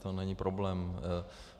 To není problém.